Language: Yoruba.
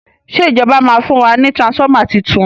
ṣe ìjọba ma fún wa ní transformer títún?